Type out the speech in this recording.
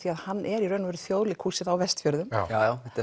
hann er í raun og veru Þjóðleikhúsið á Vestfjörðum já þetta er